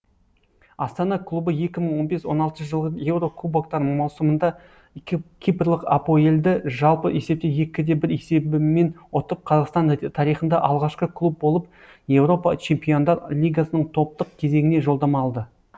астана клубы екі мың он бес он алтыншы жылғы еуро кубоктар маусымында кипрлық апоел ды жалпы есепте екі бір есебімен ұтып қазақстан тарихында алғашқы клуб болып еуропа чемпиондар лигасының топтық кезеңіне жолдама алды